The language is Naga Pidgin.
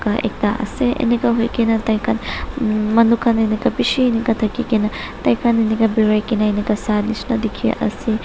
ta ekta ase enika hoikae na tai khan manu khan enika bishi enika thakikaena tai khan enika birai kaena enika sa shina dikhiase noimm.